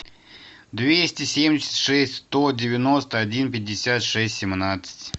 двести семьдесят шесть сто девяносто один пятьдесят шесть семнадцать